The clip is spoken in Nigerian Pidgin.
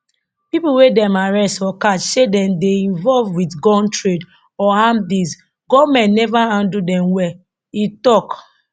pipo wey dem arrest or catch say dem dey involved wit gun trade or armed deals goment never handle dem well e tok